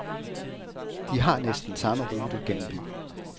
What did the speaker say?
De har næsten samme rute gennem byen.